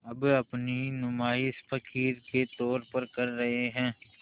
अब अपनी नुमाइश फ़क़ीर के तौर पर कर रहे हैं